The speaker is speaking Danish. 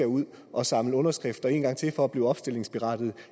ud at samle underskrifter en gang til for at blive opstillingsberettigede